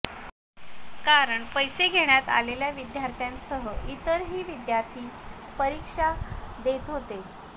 कारण पैसे घेण्यात आलेल्या विद्यार्थ्यांसह इतरही विद्यार्थी परीक्षा देत होते